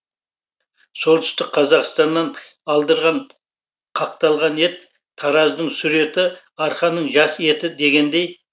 солтүстік қазақстаннан алдырған қақталған ет тараздың сүр еті арқаның жас еті дегендей